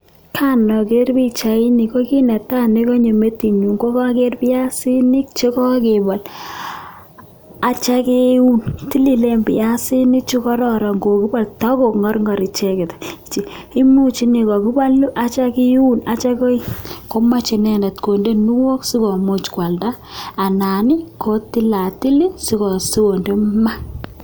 kanager pichait ni ko kit netai neganyo metinyu ko piasinik chekakepol atia keun. tililen piasinik chu kararan ako ngarngar icheket. imuche ne kokakipalu atiam kiun atia kooi omache nendet kondeguniok si kwalda anan kotilatil si konde maa.